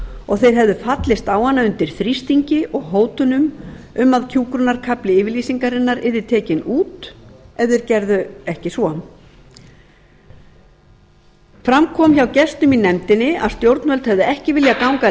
og hefðu fallist á hana undir þrýstingi og hótunum um að hjúkrunarkafli yfirlýsingarinnar yrði tekinn út ef þeir gerðu ekki svo fram kom hjá gestum í nefndinni að stjórnvöld hefði ekki viljað ganga